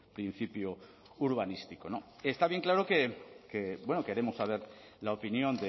principio urbanístico no está bien claro que bueno queremos saber la opinión